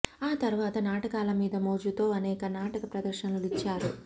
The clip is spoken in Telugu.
ఆ తరువాత నాటకాల మీద మోజుతో అనేక నాటక ప్రదర్శనలు ఇచ్చారు